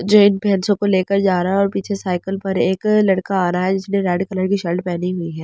लेकर जा रहा है और पीछे साइकिल पर एक लड़का आ रहा है जिसने रेड कलर की शर्ट पहनी हुई है।